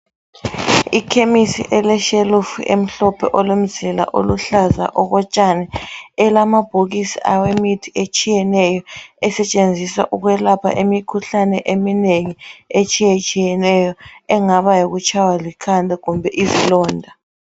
Ikhemisi eleshelufu emhlophe olomzila oluhlaza okotshani, elamabhokisi awemithi etshiyeneyo esetshenziswa ukwelapha imikhuhlane eminengi etshiyetshiyeneyo engaba yikutshaywa likhanda kumbe izilonda.